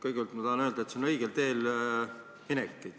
Kõigepealt tahan ma öelda, et see on õigele teele minek.